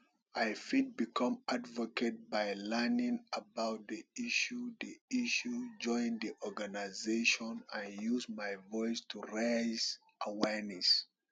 i fit become advocate by learning about di issue di issue join di organization and use my voice to raise awareness